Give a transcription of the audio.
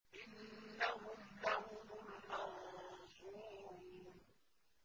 إِنَّهُمْ لَهُمُ الْمَنصُورُونَ